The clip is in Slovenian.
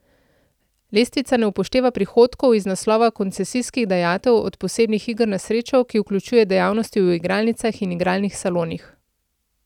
Lestvica ne upošteva prihodkov iz naslova koncesijskih dajatev od posebnih iger na srečo, ki vključuje dejavnosti v igralnicah in igralnih salonih.